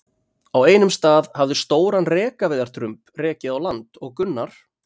Á einum stað hafði stóran rekaviðardrumb rekið á land og Gunnar